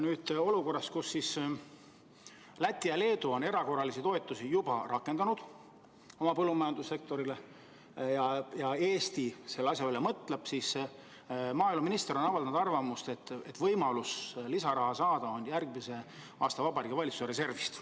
Nüüd, olukorras, kus Läti ja Leedu on erakorralisi toetusi oma põllumajandussektoris juba rakendanud ja Eesti selle asja üle mõtleb, on maaeluminister avaldanud arvamust, et lisaraha on võimalik saada Vabariigi Valitsuse järgmise aasta reservist.